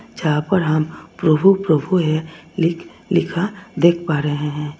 यहां पर हम प्रभु प्रभु है लिख लिखा देख पा रहे हैं।